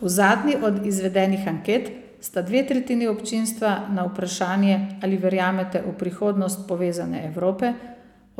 V zadnji od izvedenih anket sta dve tretjini občinstva na vprašanje Ali verjamete v prihodnost povezane Evrope,